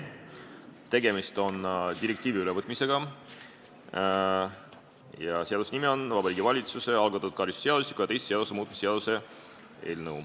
Tegemist on direktiivi ülevõtmisega ja seaduse nimi on Vabariigi Valitsuse algatatud karistusseadustiku ja teiste seaduste muutmise seadus.